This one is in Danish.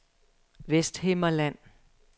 Vesthimmerland